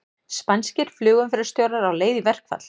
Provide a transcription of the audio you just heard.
Spænskir flugumferðarstjórar á leið í verkfall